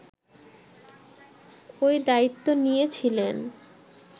ওই দায়িত্ব নিয়েছিলেন